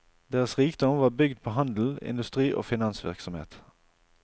Deres rikdom var bygd på handel, industri og finansvirksomhet.